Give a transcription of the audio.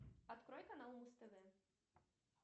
открой канал муз тв